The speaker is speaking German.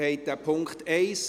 (2019.RRGR.257; Ziff.